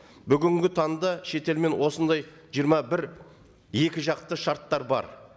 бүгінгі таңда шетелмен осындай жиырма бір екі жақты шарттар бар